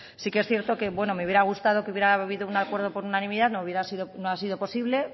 sí que es cierto bueno me hubiera gustado que hubiera habido un acuerdo por unanimidad no ha sido posible